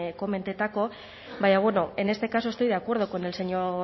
komentatzeko baina bueno en este caso estoy de acuerdo con el señor